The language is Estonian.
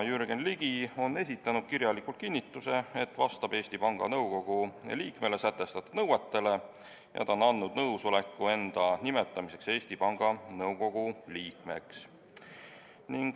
Jürgen Ligi on esitanud kirjaliku kinnituse, et ta vastab Eesti Panga Nõukogu liikmele sätestatud nõuetele, ja on andnud nõusoleku enda nimetamiseks Eesti Panga Nõukogu liikmeks.